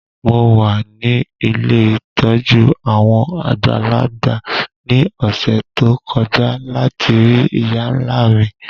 Mo wa ni ilé ìtójú àwon àgbàlagbà ni ọ̀ṣẹ̀ to kọja lati rii ìyá-nla mi.